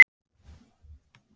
veðjaðu átta þúsund króna á rauðan